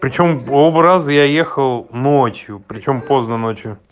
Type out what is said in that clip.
причём оба раза я ехал ночью при чем поздно ночью